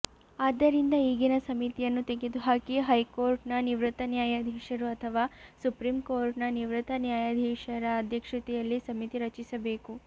ಆದ್ದರಿಂದ ಈಗಿನ ಸಮಿತಿಯನ್ನು ತೆಗೆದುಹಾಕಿ ಹೈಕೋಟರ್ಿನ ನಿವೃತ್ತನ್ಯಾಯಾಧೀಶರು ಅಥವಾ ಸುಪ್ರೀಂ ಕೋಟರ್ಿನ ನಿವೃತ್ತ ನ್ಯಾಯಾಧೀಶರಅಧ್ಯಕ್ಷತೆಯಲ್ಲಿ ಸಮಿತಿ ರಚಿಸಬೇಕು